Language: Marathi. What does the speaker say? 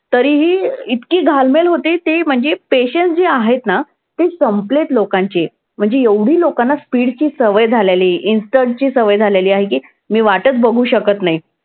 तरीही इतकी घालमेल होते ते म्हणजे patience जे आहेत ना, ते संपलेत लोकांचे. म्हणजे एवढी लोकांना speed ची सवय झालेली आहे. instant ची सवय झालेली आहे की मी वाटच बघू शकत नाही.